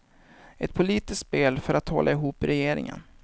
Ett politiskt spel för att hålla ihop regeringen.